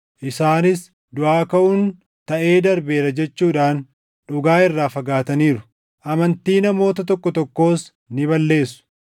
isaanis duʼaa kaʼuun taʼee darbeera jechuudhaan dhugaa irraa fagaataniiru. Amantii namoota tokko tokkoos ni balleessu.